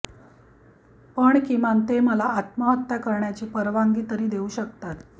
पण किमान ते मला आत्महत्या करण्याची परवानगी तरी देऊ शकतात